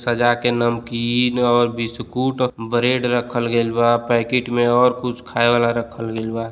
सजा के नमकीन और बिस्कुट ब्रेड रखल गईल बा पैकेट में और कुछ खाए वाला रखल बा।